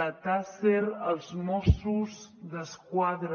la taser els mossos d’esquadra